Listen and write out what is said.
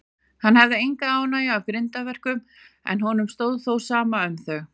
Hann hafði enga ánægju af grimmdarverkum, en honum stóð á sama um þau.